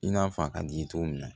I n'a fɔ a ka d'i ye cogo min na